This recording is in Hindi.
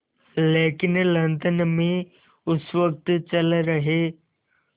लेकिन लंदन में उस वक़्त चल रहे